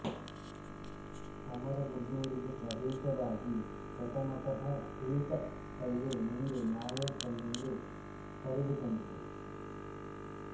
ಅಮರ ಮುಡ್ನೂರಿಗೆ ಪ್ರವೇಶವಾಗಿ ಪ್ರಥಮತಃ ಕುಳಿತ ಕಲ್ಲೇ ಮುಂದೆ ನಾಯರ್ ಕಲ್ಲೆಂದು ಕರೆದುಕೊಂಡಿತು